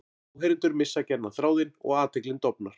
Áheyrendur missa gjarnan þráðinn og athyglin dofnar.